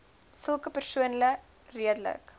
sulke persone redelik